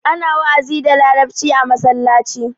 Ana wa'azi da larabci a masallaci.